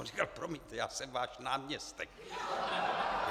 On říkal: "Promiňte, já jsem váš náměstek." .